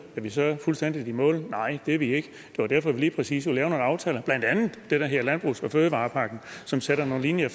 er vi så fuldstændig i mål nej det er vi ikke det var derfor vi lige præcis lavede nogle aftaler blandt andet den der hedder landbrugs og fødevarepakken som sætter nogle linjer